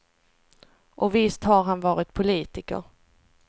Och visst har han varit politiker.